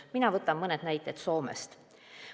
Mina võtan mõne näite Soomest.